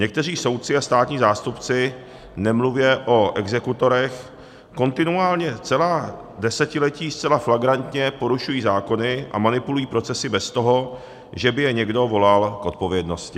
Někteří soudci a státní zástupci, nemluvě o exekutorech, kontinuálně celá desetiletí zcela flagrantně porušují zákony a manipulují procesy bez toho, že by je někdo volal k odpovědnosti.